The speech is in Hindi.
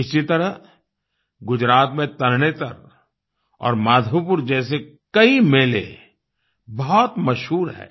इसी तरह गुजरात में तरणेतर और माधोपुर जैसे कई मेले बहुत मशहूर हैं